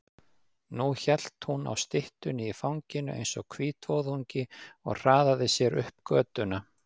Nú hélt hún á styttunni í fanginu eins og hvítvoðungi og hraðaði sér upp götuna.